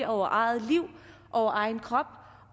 over eget liv og egen krop